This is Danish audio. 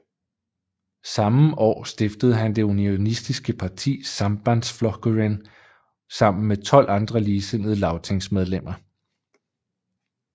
Samme år stiftede han det unionistiske parti Sambandsflokkurin sammen med tolv andre ligesindede lagtingsmedlemmer